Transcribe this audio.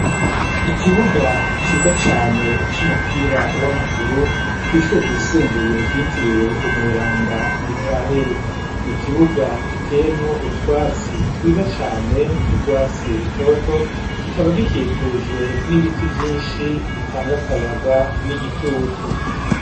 Ikibuga ciza cane c'umupira w'amaguru kw'ishuye ryisumbuye gitiriwe umweranda mikaheri ni kibuga giteyemwo utwatsi twiza cane t'urwatsi rutoto kikaba gikikujwe n'ibiti vyinshi bitanga akayaga n'igitutu.